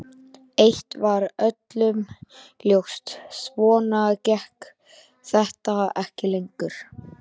Eitt var öllum ljóst: Svona gekk þetta ekki lengur.